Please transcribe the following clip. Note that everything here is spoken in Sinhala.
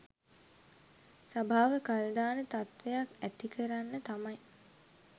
සභාව කල් දාන තත්ත්වයක් ඇතිකරන්න තමයි